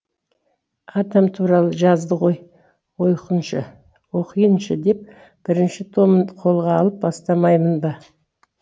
атам туралы жазды ғой оқиыншы деп бірінші томын қолға алып бастамаймын ба